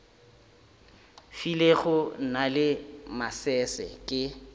filego na le masese ke